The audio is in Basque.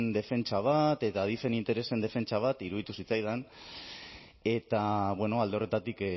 defentsa bat eta adifen interesen defentsa bat iruditu zitzaidan eta alde horretatik